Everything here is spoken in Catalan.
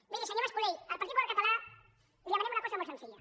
miri senyor mas colell el partit popular català li demanem una cosa molt senzilla